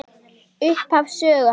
Upphaf sögu hans.